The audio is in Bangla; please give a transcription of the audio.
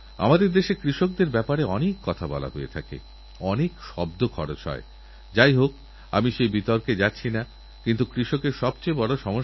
আমাদের দেশে প্রতি বছর প্রায় তিনকোটি মহিলা গর্ভবতী হন কিন্তু কিছু মা সন্তানপ্রসবের সময় মারা যান কখনো মা মারা যান কখনো বা সন্তান আবার কখনো মা ও সন্তানদুজনেই মারা যায়